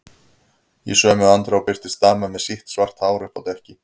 Í sömu andrá birtist dama með sítt, svart hár uppi á dekki.